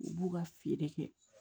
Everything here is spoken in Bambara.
U b'u ka feere kɛ